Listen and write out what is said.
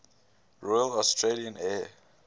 royal australian air